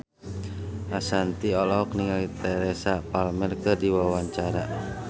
Ashanti olohok ningali Teresa Palmer keur diwawancara